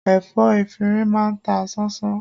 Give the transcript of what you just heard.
Ẹ̀fọ́ efinrin máa ń ta ṣánṣán